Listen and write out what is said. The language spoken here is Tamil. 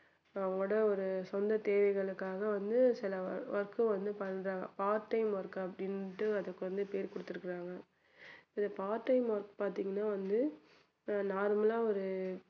அவங்களோட ஒரு சொந்த தேவைகளுக்காக வந்து சில work உ வந்து பண்றாங்க part time work அப்படின்னுட்டு அதுக்கு வந்து பேர் கொடுத்திருக்காங்க இந்த part time work பாத்தீங்கன்னா வந்து normal லா ஒரு